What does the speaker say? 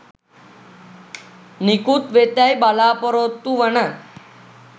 නිකුත්වෙතැයි බලපොරොත්තුවන